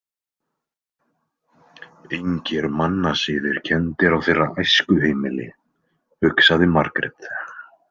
Engir mannasiðir kenndir á þeirra æskuheimili, hugsaði Margrét.